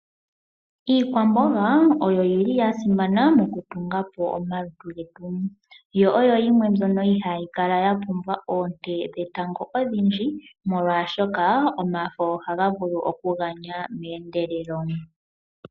Iikwamboga oyo yi li ya simana moku tungapo omalutu getu. Yo oyo yimwe mbyono ha yi kala ya pumbwa oonte dhetango odhindji, molwashoka omafo oha ga vulu oku ganya meendelelo